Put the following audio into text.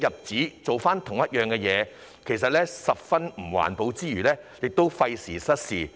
此舉其實十分不環保，亦費時失事。